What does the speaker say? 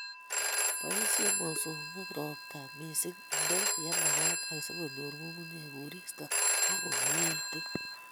Boisie mosongik robta missing, inde yemakat asikonyor nyung'unyek koristo ak komieitu